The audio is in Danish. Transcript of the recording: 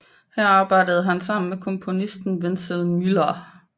Her arbejdede han sammen med komponisten Wenzel Müller